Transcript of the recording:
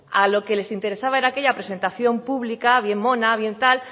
a lo que les interesaba era aquella presentación pública bien mona bien tal